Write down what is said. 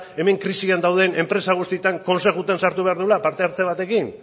hemen krisian dauden enpresa guztietan kontseiluetan sartu behar duela parte hartze batekin